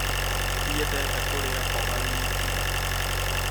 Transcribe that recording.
Ndiendete kũrĩa mboga wiki